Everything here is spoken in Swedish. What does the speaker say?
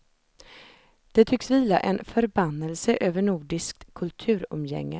Det tycks vila en förbannelse över nordiskt kulturumgänge.